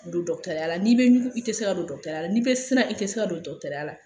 Don ya la ni i be ɲugun, i tɛ se ka don ya la, ni i bɛ siran, i tɛ se ka don ya la.